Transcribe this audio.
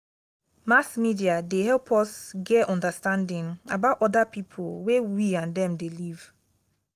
mass media dey help us get understanding about oda people wey we and them dey live